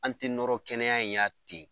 An tɛ nɔrɔ kɛnɛya y'a ten.